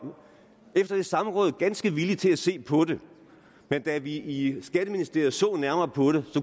efter det samråd ganske villig til at se på det men da vi i skatteministeriet så nærmere på det